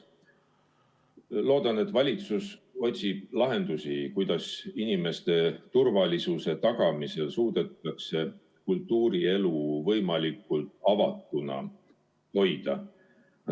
Loodan, et valitsus otsib lahendusi, kuidas inimeste turvalisuse tagamisel suudetakse ka kultuurielu võimalikult avatuna hoida.